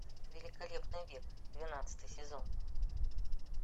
великолепный век двенадцатый сезон